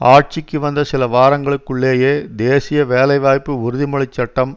ஆட்சிக்கு வந்த சில வாரங்களுக்குள்ளேயே தேசிய வேலை வாய்ப்பு உறுதிமொழி சட்டம்